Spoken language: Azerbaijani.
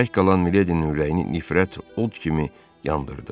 Tək qalan Miledinin ürəyini nifrət od kimi yandırdı.